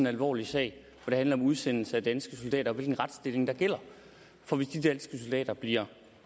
alvorlig sag hvor det handler om udsendelse af danske soldater og hvilken retsstilling der gælder for hvis de danske soldater bliver